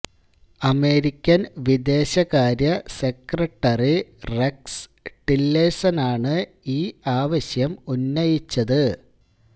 American വിദേശകാര്യ secretary Rex ടില്ലേഴ്സണനാണ് ഈ ആവശ്യം ഉന്നയിച്ചത്